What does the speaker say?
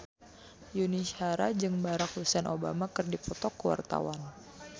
Yuni Shara jeung Barack Hussein Obama keur dipoto ku wartawan